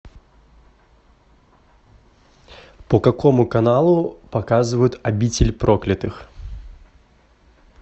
по какому каналу показывают обитель проклятых